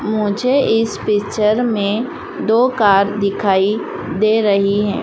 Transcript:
मुझे इस पिक्चर में दो कार दिखाई दे रही हैं।